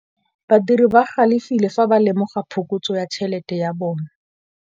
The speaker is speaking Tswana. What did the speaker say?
Badiri ba galefile fa ba lemoga phokotsô ya tšhelête ya bone.